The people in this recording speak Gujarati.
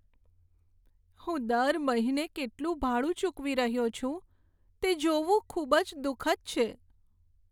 હું દર મહિને કેટલું ભાડું ચૂકવી રહ્યો છું તે જોવું ખૂબ જ દુઃખદ છે.